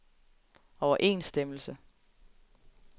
overensstemmelse